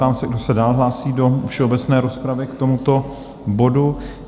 Ptám se, kdo se dál hlásí do všeobecné rozpravy k tomuto bodu?